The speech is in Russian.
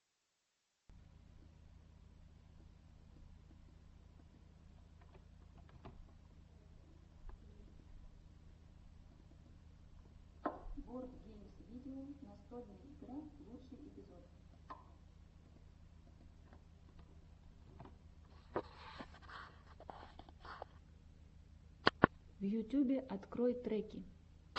в ютюбе открой треки